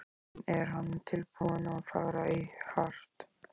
En er hann tilbúinn að fara í hart?